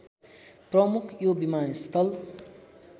प्रमुख यो विमानस्थल